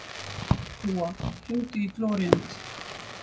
Gúa, hringdu í Gloríant.